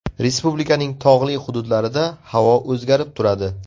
Respublikaning tog‘li hududlarida havo o‘zgarib turadi.